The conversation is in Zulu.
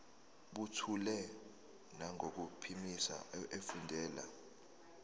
buthule nangokuphimisa efundela